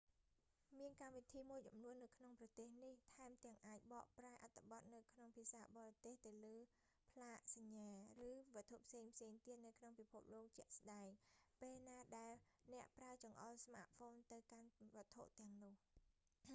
មានកម្មវិធីមួយចំនួននៅក្នុងប្រភេទនេះថែមទាំងអាចបកប្រែអត្ថបទនៅក្នុងភាសាបរទេសលើផ្លាកសញ្ញា ឬវត្ថុផ្សេងៗទៀតនៅក្នុងពិភពលោកជាក់ស្តែង ពេលណាដែលអ្នកប្រើចង្អុលស្មាតហ្វូនទៅកាន់វត្ថុទាំងនោះ